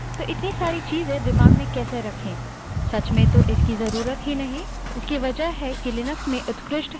commands को एक साथ संयुक्त भी कर सकते हैं जो कि हम बाद में देखेंगे तो इतनी सारी चीज़ें हम दिमाग में कैसे रखें